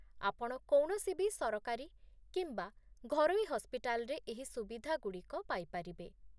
ଆପଣ କୌଣସିବି ସରକାରୀ କିମ୍ବା ଘରୋଇ ହସ୍ପିଟାଲରେ ଏହି ସୁବିଧାଗୁଡ଼ିକ ପାଇପାରିବେ